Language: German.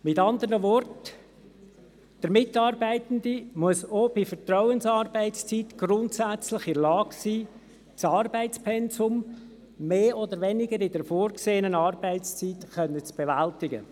Mit anderen Worten: Der Mitarbeitende muss auch bei der Vertrauensarbeitszeit grundsätzlich in der Lage sein, das Arbeitspensum mehr oder weniger in der vorgesehenen Arbeitszeit zu bewältigen.